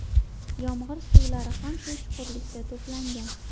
Yomg‘ir suvlari ham shu chuqurlikda to‘plangan.